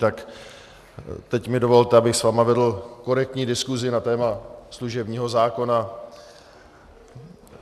Tak teď mi dovolte, abych s vámi vedl korektní diskusi na téma služebního zákona.